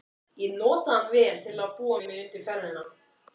Ég notaði hann vel til að búa mig undir ferðina.